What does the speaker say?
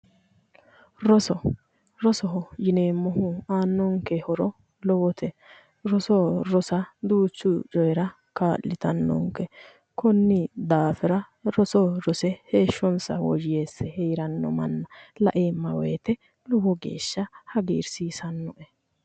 Rosoho risoho yineemmohu aannonke horo lowote roso rosa duuchu coyiira kaa'litannonke konni daafira roso rose heeshshonsa woyyeesse heeranno manna la"emma woyiite lowo geeshsha hagirsiisanno"e